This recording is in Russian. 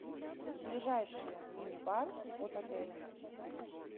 ближайший мини бар от отеля